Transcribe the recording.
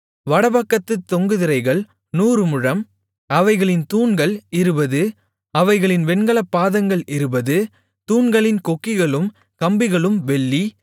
வடபக்கத்துத் தொங்கு திரைகள் நூறு முழம் அவைகளின் தூண்கள் இருபது அவைகளின் வெண்கலப் பாதங்கள் இருபது தூண்களின் கொக்கிகளும் கம்பிகளும் வெள்ளி